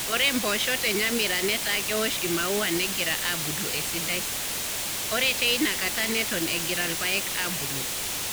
Ore mpoosho te Nyamira netaa keosh imaua negira aabulu esidai, ore teina kata neton egira irpaek aabulu.